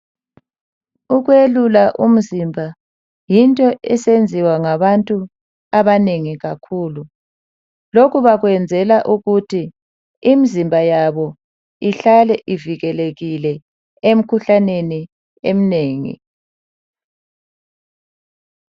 Ukwelula umzimba yinto eyenziwa ngabantu abanengi kakhulu lokhu bakwenzela ukuthi imzimba yabo ihlale ivikelekile emkhuhlaneni eminengi.